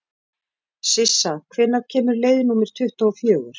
Sissa, hvenær kemur leið númer tuttugu og fjögur?